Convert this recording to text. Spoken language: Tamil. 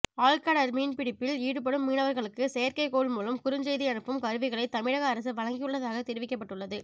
ஆழ்கடல் மீன்பிடிப்பில் ஈடுபடும் மீனவர்களுக்கு செயற்கைகோள் மூலம் குறுஞ்செய்தி அனுப்பும் கருவிகளை தமிழக அரசு வழங்கியுள்ளதாக தெரிவிக்கப்பட்டுள்ளது